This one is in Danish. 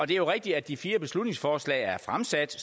det er rigtigt at de fire beslutningsforslag er fremsat